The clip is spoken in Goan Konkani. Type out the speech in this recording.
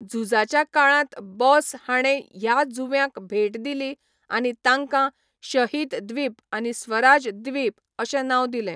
झुजाच्या काळांत बोस हाणें ह्या जुंव्यांक भेट दिली आनी तांकां 'शहीद द्वीप' आनी 'स्वराज द्वीप' अशें नांव दिलें.